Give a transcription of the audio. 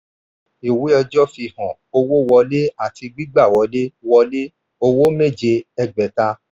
ìwé ọjọ́ fi hàn owó wọlé àti gígba wọlé — wọlé — owó méje ẹgbẹ̀ta.